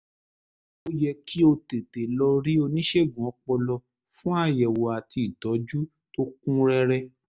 ó yẹ kí o tètè lọ rí oníṣègùn ọpọlọ fún àyẹ̀wò àti ìtọ́jú tó kún rẹ́rẹ́